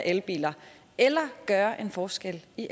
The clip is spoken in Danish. elbiler eller gøre en forskel i